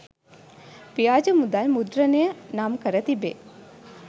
ව්‍යාජ මුදල් මුද්‍රණය නම්කර තිබේ.